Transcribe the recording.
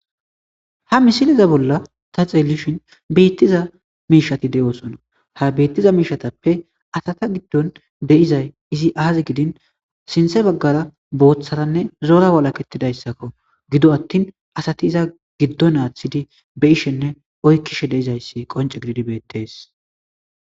ha misiliza bolla ta xeelishin biittiza miishati de7oosona ha biittiza miishatappe asata giddon de'izay izi aazi gidin sinthe baggara booththaranne zora walakettidayssakko gido attin asati iza giddo naaththidi be ishenne oykkishe deizayssi qonce gididi beettees